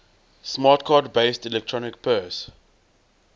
smart card based electronic purse